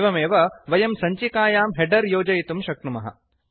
एवमेव वयं सञ्चिकायां हेडर् योजयितुं शक्नुमः